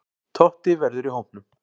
Totti verður í hópnum.